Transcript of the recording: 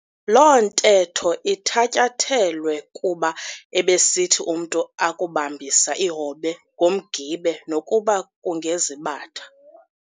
Loo ntetho ithatyathelwe kuba ebesithi umntu akubambisa ihobe ngomgibe nokuba kungezibatha,